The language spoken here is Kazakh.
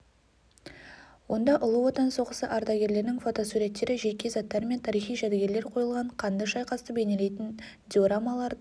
онда ұлы отан соғысы ардагерлерінің фотосуреттері жеке заттары мен тарихи жәдігерлер қойылған қанды шайқасты бейнелейтін диорамаларды